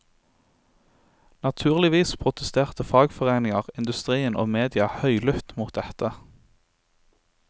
Naturligvis protesterte fagforeninger, industrien og media høylytt mot dette.